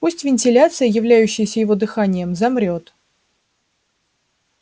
пусть вентиляция являющаяся его дыханием замрёт